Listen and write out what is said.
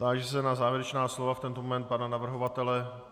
Táži se na závěrečná slova, v tento moment pana navrhovatele.